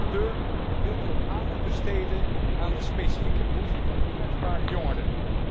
Rapporteur, wilt u ook aandacht besteden aan de specifieke behoeften van kwetsbare jongeren?